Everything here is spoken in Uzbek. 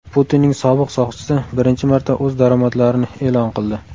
Putinning sobiq soqchisi birinchi marta o‘z daromadlarini e’lon qildi.